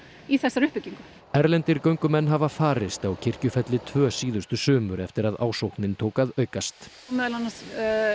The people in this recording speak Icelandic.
í þessari uppbyggingu erlendir göngumenn hafa farist á Kirkjufelli tvö síðustu sumur eftir að ásóknin tók að aukast meðal annars